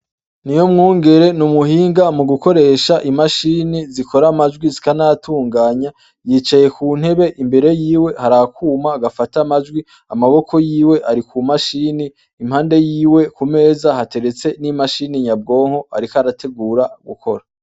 Ni ho mwungere ni umuhinga mu gukoresha imashini zikora amajwi zikanatunganya yicaye ku ntebe imbere yiwe har akuma agafata majwi amaboko yiwe ari ku mashini impande yiwe ku meza hateretse n'imashini nyabwonko, ariko arategura gukora.